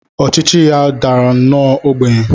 Ọchịchị ya dara nnọọ ogbenye.